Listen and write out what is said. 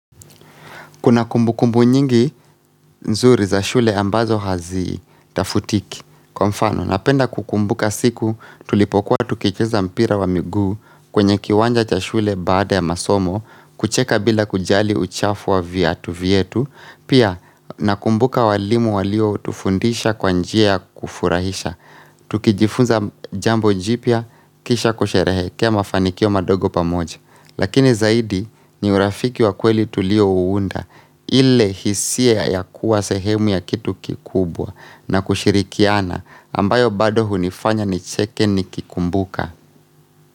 Kuna kumbukumbu nyingi nzuri za shule ambazo haziitafutiki. Kwa mfano, napenda kukumbuka siku tulipokuwa tukicheza mpira wa miguu kwenye kiwanja cha shule baada ya masomo, kucheka bila kujali uchafu wa viatu vyetu. Pia, nakumbuka walimu walio tufundisha kwa njia ya kufurahisha. Tukijifunza jambo jipya kisha kusherehekea mafanikio mandogo pamoja. Lakini zaidi ni urafiki wa kweli tulio uunda. Ile hisia ya kuwa sehemu ya kitu kikubwa na kushirikiana ambayo bado hunifanya nicheke nikikumbuka.